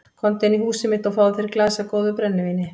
Komdu inn í húsið mitt og fáðu þér í glas af góðu brennivíni.